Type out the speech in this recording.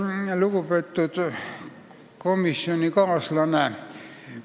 Lugupeetud komisjonikaaslane!